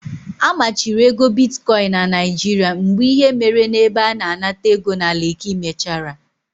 A machiri ego bitkoin na Naijiria mgbe ihe mere n'ebe a na-anata ego na Leki mechara.